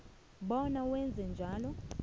bona wenze njalo